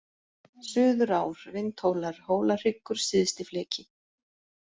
Suðurár, Vindhólar, Hólahryggur, Syðstifleki